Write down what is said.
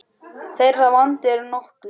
Þeirra vandi er nokkur.